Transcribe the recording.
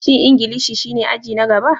Shin Ingilishi shine aji na gaba?